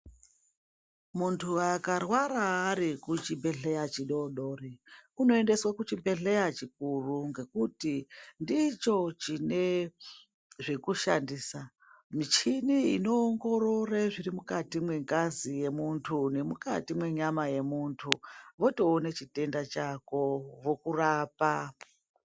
Muntu akarwara ari kuchibhehleya chidodori unoendeswa kuchibhehleya chikuru ngekuti ndicho chine zvekushandisa michini inoongorere zviri mukati mengazi yemuntu nemukati menyama yemuntu votoone chitenda chako vokurapa.